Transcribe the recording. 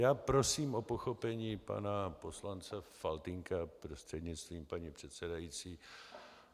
Já prosím o pochopení pana poslance Faltýnka prostřednictvím paní předsedající.